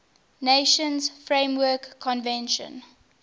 nations framework convention